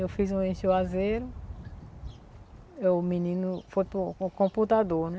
Eu fiz um em Juazeiro, r o menino foi com o computador, né?